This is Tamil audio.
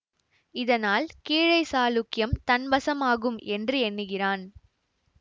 இதனால் கீழை சாளுக்கியம் தன் வசமாகும் என்று எண்ணுகிறான்